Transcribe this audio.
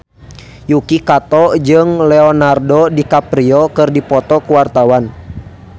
Yuki Kato jeung Leonardo DiCaprio keur dipoto ku wartawan